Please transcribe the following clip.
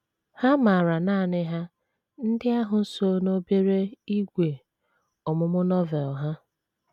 Ha maara nanị Ha ndị ahụ so n’obere ígwè ọmụmụ Novel ha.